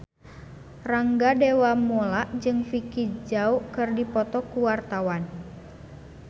Rangga Dewamoela jeung Vicki Zao keur dipoto ku wartawan